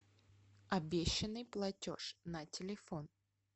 обещанный платеж на телефон